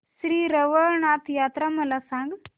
श्री रवळनाथ यात्रा मला सांग